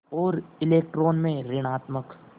और इलेक्ट्रॉन में ॠणात्मक